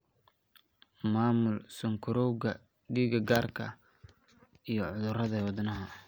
Maamul sonkorowgaaga, dhiig karka, iyo cudurada wadnaha.